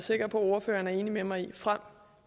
sikker på at ordføreren er enig med mig i frem